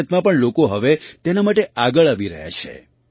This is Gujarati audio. ભારતમાં પણ લોકો હવે તેના માટે આગળ આવી રહ્યા છે